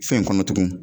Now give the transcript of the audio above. Fɛn kɔnɔ tugun